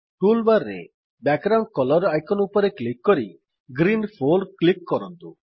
toolbar ରେ background colour icon ଉପରେ click କରି ଗ୍ରୀନ୍ 4 କ୍ଲିକ୍ କରନ୍ତୁ